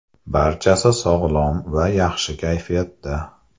Barchasi sog‘lom va yaxshi kayfiyatda.